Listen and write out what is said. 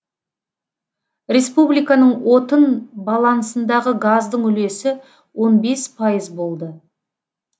республиканың отын балансындағы газдың үлесі болды